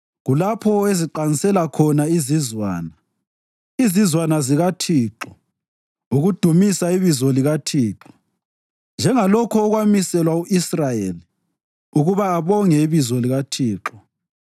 Kulapho eziqansela khona izizwana, izizwana zikaThixo, ukudumisa ibizo likaThixo njengalokho okwamiselwa u-Israyeli, ukuba abonge ibizo likaThixo.